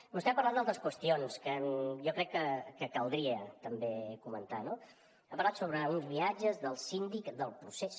vostè ha parlat d’altres qüestions que jo crec que caldria també comentar no ha parlat sobre uns viatges del síndic del procés